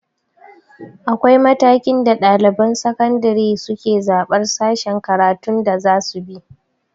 Akwai matakin da ɗaliban sakandire suke zaɓan sashen karatun da zasu bi